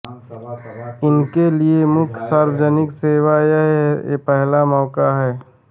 उनके लिए प्रमुख सार्वजनिक सेवा का यह पहला मौका था